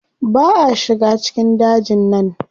Ba a shiga cikin dajin nan.